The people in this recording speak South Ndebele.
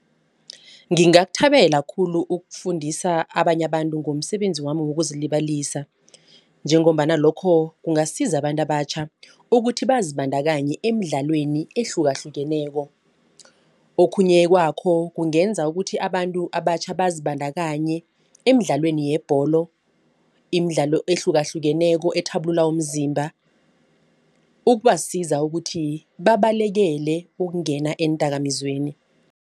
Ngingakuthabela khulu ukufundisa abanye abantu ngomsebenzi wami wokuzilibazisa. Njengombana lokho kungasiza abantu abatjha ukuthi bazibandakanye emidlalweni ehlukahlukeneko. Okhunye kwakho kungenza ukuthi abantu abatjha bazibandakanye emidlalweni yebholo, imidlalo ehlukahlukeneko ethabulula umzimba. Ukubasiza ukuthi babalekele ukungena eendakamizweni.